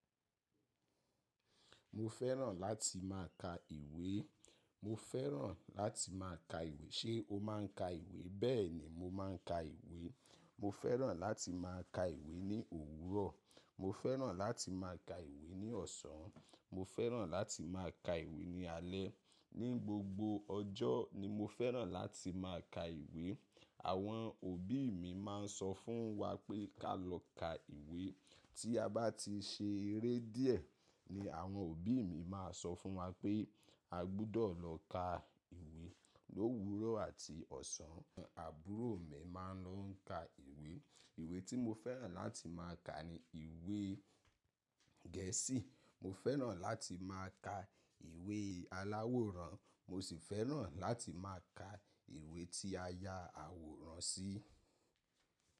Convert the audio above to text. Mo fẹ́ràn láti máa ka ìwé. Mo fẹ́ràn láti máa ka ìwé. Ṣé o máa ń ka ìwé? Bẹ́ẹ̀ ni, mo máa ń ka ìwé. Mo fẹ́ràn láti máa ka ìwé ní òwúrọ̀. Mo fẹ́ràn láti máa ka ìwé ní ọ̀sán. Mo fẹ́ràn láti máa ka ìwé ní alẹ́. Ni gbogbo ọjọ́ ni mo fẹ́ràn láti máa ka ìwé. Àwọn òbí mi máa ń sọ fún wa pé ká lọ ka ìwé. Tí a bá ti ṣe eré díẹ̀ ni àwọn òbí mi máa sọ fún wa pé a gbudọ̀ lọ ka ìwé. Lówúrọ̀ àti ọ̀sán àbúrò mi máa ń lọ ń ka ìwé. Ìwé tí mo fẹ́ràn láti máa ka ni ìwé Gẹ̀ẹ́sì. Mo fẹ́ràn láti máa ka ìwé aláwòrán. Mo sì fẹ́ràn láti máa ka ìwé tí a ya àwòrán sí.